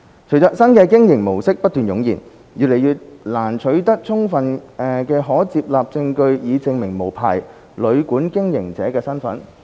隨着新的經營模式不斷湧現，越來越難取得充分的可接納證據以證明無牌旅館經營者的身份。